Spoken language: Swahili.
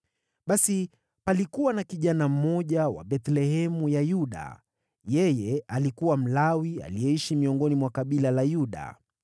Basi palikuwa na kijana mmoja wa Bethlehemu ya Yuda. Yeye alikuwa Mlawi aliyeishi miongoni mwa kabila la Yuda.